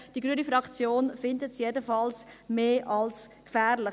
Die grüne Fraktion findet es jedenfalls mehr als gefährlich.